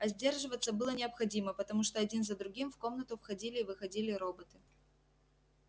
а сдерживаться было необходимо потому что один за другим в комнату входили и выходили роботы